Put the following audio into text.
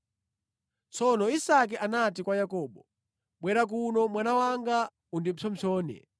Tsono Isake anati kwa Yakobo, “Bwera kuno mwana wanga undipsompsone.”